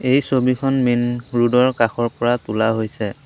এই ছবিখন main road ৰ কাষৰ পৰা তোলা হৈছে।